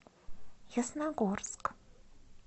ясногорск